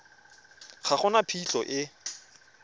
ga go na phitlho e